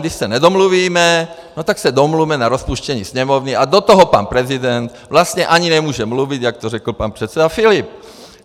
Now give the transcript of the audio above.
Když se nedomluvíme, no tak se domluvme na rozpuštění Sněmovny a do toho pan prezident vlastně ani nemůže mluvit, jak to řekl pan předseda Filip.